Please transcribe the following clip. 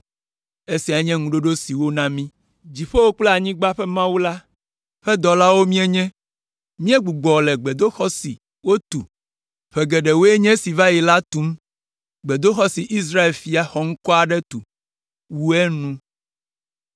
Esiae nye ŋuɖoɖo si wona mí: “Dziƒo kple anyigba ƒe Mawu la ƒe dɔlawo míenye; míegbugbɔ le gbedoxɔ si wotu ƒe geɖewoe nye esi va yi la tum, gbedoxɔ si Israel ƒe fia xɔŋkɔ aɖe tu, wu enu,